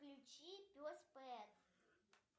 включи пес пэт